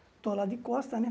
Estou lá de costas, né?